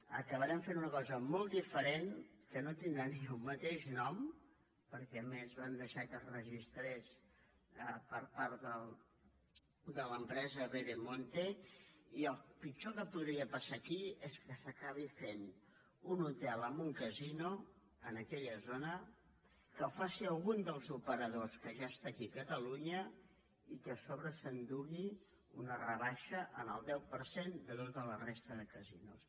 acabarem fent una cosa molt diferent que no tindrà ni el mateix nom perquè a més van deixar que es registrés per part de l’empresa veremonte i el pitjor que podria passar aquí és que s’acabi fent un hotel amb un casino en aquella zona que ho faci alguns dels operadors que ja està aquí a catalunya i que a sobre s’endugui una rebaixa en el deu per cent de tota la resta de casinos